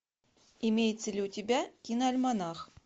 имеется ли у тебя киноальманах